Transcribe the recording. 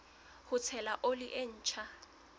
ho tshela oli e ntjha